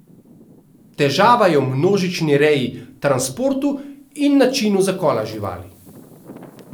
Težava je v množični reji, transportu in načinu zakola živali.